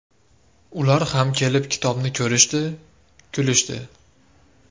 Ular ham kelib kitobni ko‘rishdi, kulishdi.